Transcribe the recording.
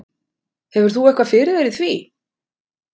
Hefur þú eitthvað fyrir þér í því?